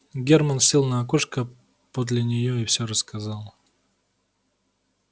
германн сел на окошко подле нее и все рассказал